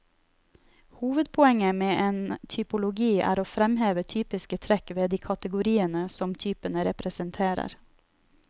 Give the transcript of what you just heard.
Hovedpoenget med en typologi er å fremheve typiske trekk ved de kategeoriene som typene representerer.